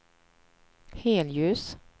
helljus